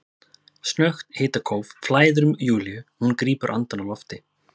Snöggt hitakóf flæðir um Júlíu og hún grípur andann á lofti.